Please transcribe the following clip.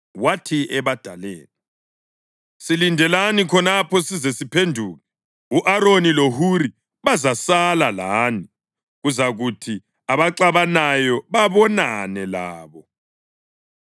Wathi ebadaleni, “Silindelani khonapha size siphenduke. U-Aroni loHuri bazasala lani, kuzakuthi abaxabanayo babonane labo.”